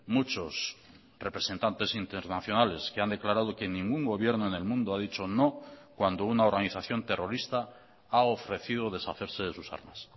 muchos representantes internacionales que han declarado que ningún gobierno en el mundo ha dicho no cuando una organización terrorista ha ofrecido deshacerse de sus armas